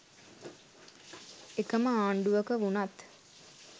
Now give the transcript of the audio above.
එකම ආණ්ඩුවක වුණත්